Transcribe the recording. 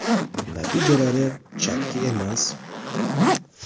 Natijalari chakki emas.